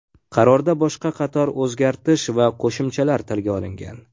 Qarorda boshqa qator o‘zgartish va qo‘shimchalar tilga olingan.